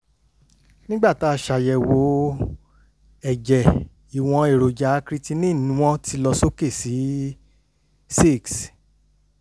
nígbà tá a ṣàyẹ̀wò ẹ̀jẹ̀ ìwọ̀n èròjà creatinine wọ́n ti lọ sókè sí six